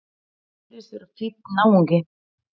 Hann virðist vera fínn náungi!